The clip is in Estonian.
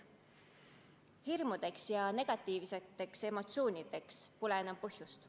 Hirmudeks ja negatiivseteks emotsioonideks pole põhjust.